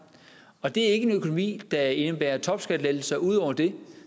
og det er ikke en økonomi der indebærer topskattelettelser ud over det